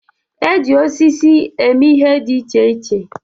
E ji osisi eme ihe dị iche iche.